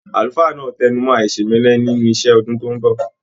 Àlùfáà náà tẹnumọ aisemẹlẹ nínú iṣẹ ní ọdún tó n bọ.